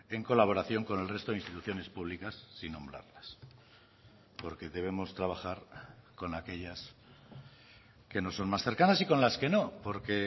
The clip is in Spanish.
en colaboración con el resto de instituciones públicas sin nombrarlas porque debemos trabajar con aquellas que nos son más cercanas y con las que no porque